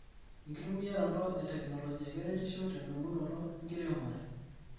Enkitumiaroto eteknolojia keretisho tendumunoto enkiremore.